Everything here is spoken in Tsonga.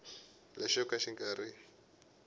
lexo ka xi nga ri